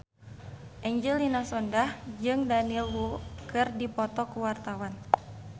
Angelina Sondakh jeung Daniel Wu keur dipoto ku wartawan